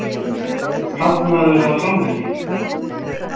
Kantmaður eða framherji?